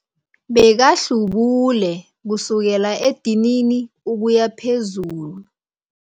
Bekahlubule kusukela edinini ukuya phezulu.